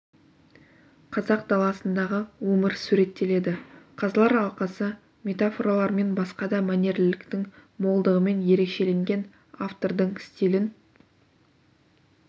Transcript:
қазақ даласындағы өмір суреттеледі қазылар алқасы метафоралар мен басқа да мәнерліліктің молдығымен ерекшеленген автордың стилін